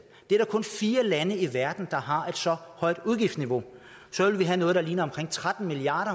der er kun fire lande i verden der har et så højt udgiftsniveau så ville vi have noget der ligner tretten milliard